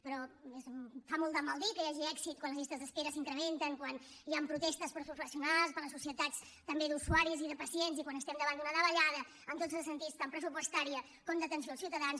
però fa molt de mal dir que hi hagi èxit quan les llistes d’espera s’incrementen quan hi han protestes dels professionals de les societats també d’usuaris i de pacients i quan estem davant d’una davallada en tots els sentits tant pressupostària com d’atenció als ciutadans